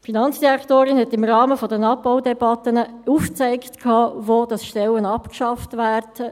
Die Finanzdirektorin hat im Rahmen der Abbaudebatten aufgezeigt, wo Stellen abgeschafft werden.